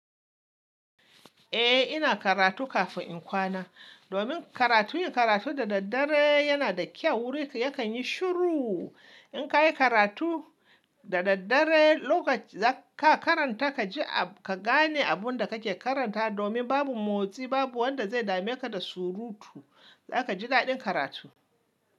Eh, ina karatu kafin in kwana domin karatu, yin karatu da daddare yana da kyau. Wuri yakan yi shiru. In ka yi karatu da daddare, lokacin da ka karanta ka ji, ka gane abun da kake karanta domin babu motsi, babu wanda zai dame ka da surutu. Za ka ji daɗin karatu.